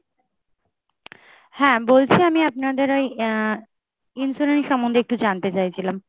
হ্যাঁ বলছি আমি আপনাদের ওই আহ insurance সম্বন্ধে একটু জানতে চাইছিলাম!